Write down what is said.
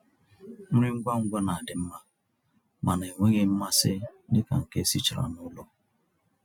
nrí ngwá ngwá ná-àdị́ mmá mànà ènwéghị́ mmàsí dika nkè èsìchàrà n'ụ́lọ̀.